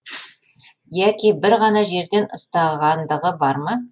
яки бір ғана жерден ұстағандығы бар ма